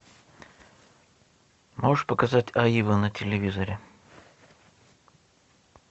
можешь показать аива на телевизоре